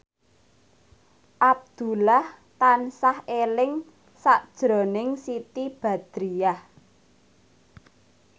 Abdullah tansah eling sakjroning Siti Badriah